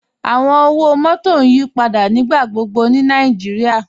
Awọn ọwọ-mọtọ n yípadà nígbàgbọ̀gbọ̀ ni Nàìjíríà.